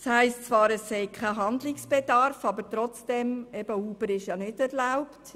Es heisst zwar, es bestehe kein Handlungsbedarf, aber Uber ist ja in der Stadt Bern nicht erlaubt.